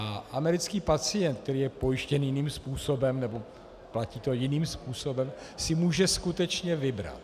A americký pacient, který je pojištěn jiným způsobem, nebo to platí jiným způsobem, si může skutečně vybrat.